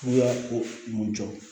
U y'a ko mun jɔ